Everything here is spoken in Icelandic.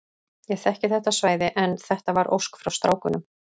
Ég þekki þetta svæði en þetta var ósk frá strákunum.